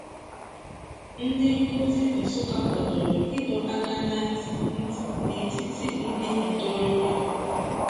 Ndị nkuzi Nsukka kwadoro ịdọ aka ná ntị ntị n'etiti ndị ntorobịa.